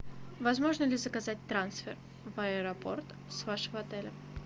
возможно ли заказать трансфер в аэропорт с вашего отеля